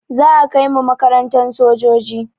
Za a kai mu makarantan sojoji